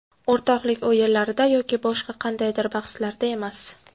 O‘rtoqlik o‘yinlarida yoki boshqa qandaydir bahslarda emas.